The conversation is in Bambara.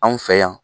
Anw fɛ yan